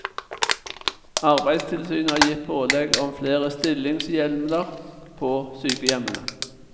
Arbeidstilsynet har gitt pålegg om flere stillingshjemler på sykehjemmene.